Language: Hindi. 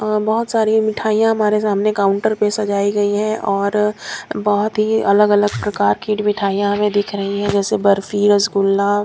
बहुत सारी मिठाइयां हमारे सामने काउंटर पर सजाई गई है और बहुत ही अलग-अलग प्रकार की मिठाइयां हमें दिख रही है जैसे बर्फी रसगुल्ला।